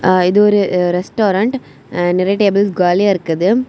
ஆ இது ஒரு ரெஸ்டாரன்ட் நிறைய டேபிள்ஸ் காலியா இருக்குது.